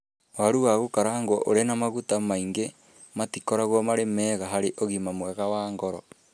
Waru wa gukarangwo ũrĩ na maguta maingĩ, matikoragwo marĩ mega harĩ ũgima mwega wa ngoro.